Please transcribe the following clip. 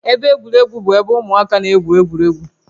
Ebe egwuregwu bụ ebe ụmụaka na-egwu egwuregwu